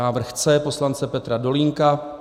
Návrh C poslance Petra Dolínka.